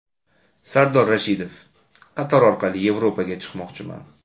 Sardor Rashidov: Qatar orqali Yevropaga ketmoqchiman.